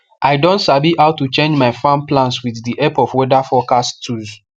i don sabi how to change my farm plans with the help of weather forecast tools